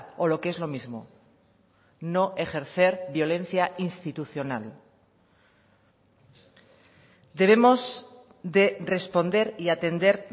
o lo que es lo mismo no ejercer violencia institucional debemos de responder y atender